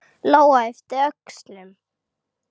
Lóa yppti öxlum.